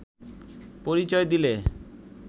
পরিচয় দিলে